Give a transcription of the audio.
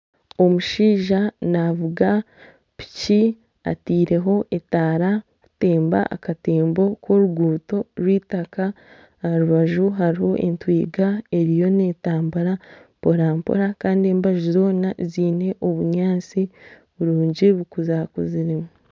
Omushaija navuga piki ataireho etaara kutemba akatembo k'oruguuto rw'eitaka aharubaju hariho entwiga eriyo n'etambura mpora mpora Kandi embaju zoona ziine obunyatsi burungi bukuzakuziremu